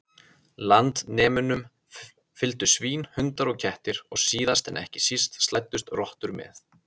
Landnemunum fylgdu svín, hundar og kettir og síðast en ekki síst slæddust rottur með.